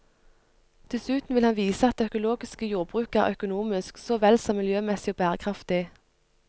Dessuten vil han vise at det økologiske jordbruket er økonomisk, så vel som miljømessig og bærekraftig.